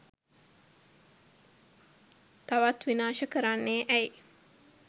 තවත් විනාශ කරන්නේ ඇයි.